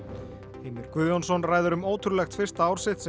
Heimir Guðjónsson ræðir um ótrúlegt fyrsta ár sitt sem